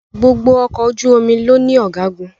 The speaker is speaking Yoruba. gbógbò Ọkọ̀ ojú-omi ló ní Ọ̀gágun